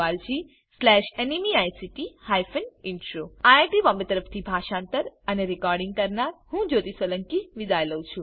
IIT Bombay તરફથી હું જ્યોતી સોલંકી વિદાય લઉં છું